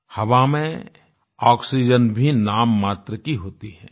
हवा में आक्सीजेन भी नाम मात्र की होती है